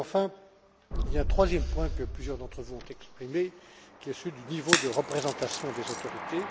Enfin, il y a un troisième point, que plusieurs d'entre vous ont exprimé, qui est celui du niveau de représentation des autorités.